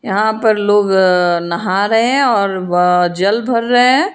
यहां पर लोग नहा रहे हैं और ब जल भर रहे है।